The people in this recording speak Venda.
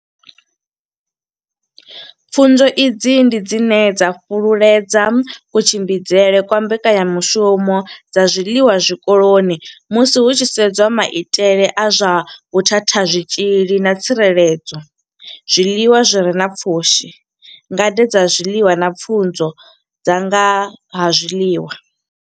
Pfufho idzi ndi dzine dza fhululedza kutshimbidzelwe kwa mbekanyamushumo dza zwiḽiwa zwikoloni musi hu tshi sedzwa maitele a zwa vhuthathazwitzhili na tsireledzo zwiḽiwa zwi re na pfushi ngade dza zwiḽiwa na pfunzo dza nga ha zwiḽiwa.